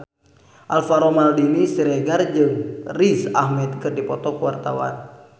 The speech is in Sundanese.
Alvaro Maldini Siregar jeung Riz Ahmed keur dipoto ku wartawan